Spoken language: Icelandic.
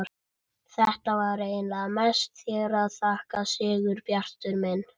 Þetta var eiginlega mest þér að þakka, Sigurbjartur minn.